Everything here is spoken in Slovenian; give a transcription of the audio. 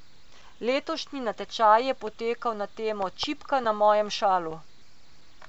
Letošnji natečaj je potekal na temo Čipka na mojem šalu.